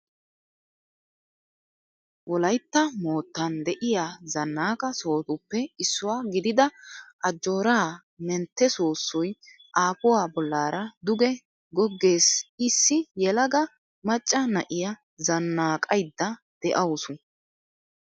Wolaytta moottan de'iyaa zannaqa sohotuppe issuwaa gidida ajoora mentte soossoy aafuwaa bollaara duge goggees Issi yelaga macca na'iyaa zannaqaydda de'awusu